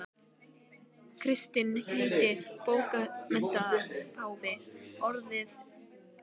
Kristinn heitinn bókmenntapáfi orðaði það um opinberun sína í marxismanum.